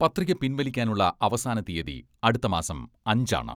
പത്രിക പിൻവലിക്കാനുള്ള അവസാന തീയതി അടുത്ത മാസം അഞ്ച് ആണ്.